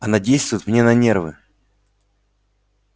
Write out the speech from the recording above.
она действует мне на нервы